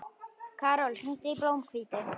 Karol, hringdu í Blómhvíti.